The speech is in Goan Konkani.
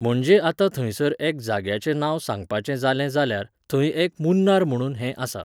म्हणजे आतां थंयसर एक जाग्याचें नांव सांगपाचें जालें जाल्यार, थंय एक 'मुन्नार' म्हुणून हें आसा.